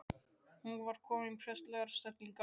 Hún var komin í prestslegar stellingar.